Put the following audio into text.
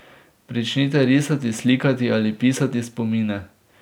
Pričnite risati, slikati ali pisati spomine.